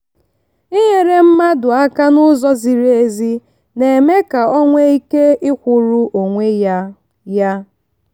inyere mmadụ aka n'ụzọ ziri ezi na-eme ka o nwee ike ikwụrụ onwe ya. ya.